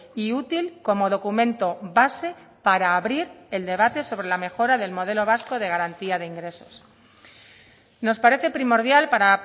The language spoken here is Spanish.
y útil como documento base para abrir el debate sobre la mejora del modelo vasco de garantía de ingresos nos parece primordial para